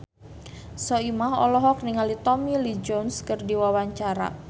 Soimah olohok ningali Tommy Lee Jones keur diwawancara